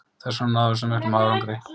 Þessvegna náðum við svona miklum árangri.